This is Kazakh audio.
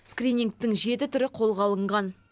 скринингтің жеті түрі қолға алынған